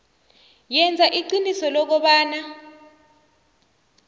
yenza iqiniso lokobana